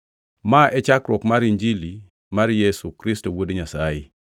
Ma e chakruok mar Injili mar Yesu Kristo Wuod Nyasaye.